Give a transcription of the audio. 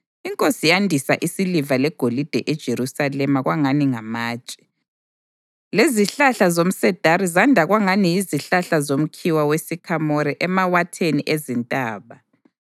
Inkosi yandisa isiliva legolide eJerusalema kwangani ngamatshe, lezihlahla zomsedari zanda kwangani yizihlahla zomkhiwa wesikhamore emawatheni ezintaba.